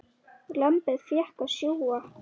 Lambið fékk að sjúga.